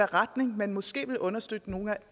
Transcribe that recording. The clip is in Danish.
retning man måske vil understøtte nogle af